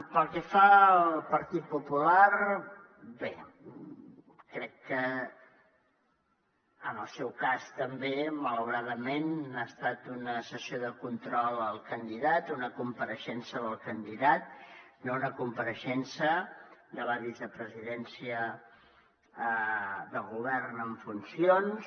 pel que fa al partit popular bé crec que en el seu cas també malauradament ha estat una sessió de control al candidat una compareixença del candidat no una compareixença de la vicepresidència del govern en funcions